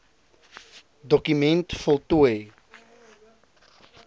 doku ment voltooi